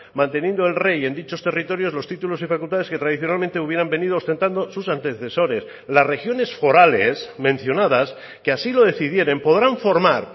manteniendo el rey en dichos territorios los títulos y facultades que tradicionalmente hubieran venido ostentando sus antecesores las regiones forales mencionadas que así lo decidieren podrán formar